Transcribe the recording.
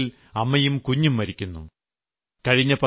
ചില സന്ദർഭങ്ങളിൽ അമ്മയും കുഞ്ഞും മരിക്കുന്നു